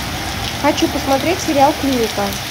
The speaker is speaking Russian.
хочу посмотреть сериал клиника